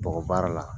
Bɔgɔ baara la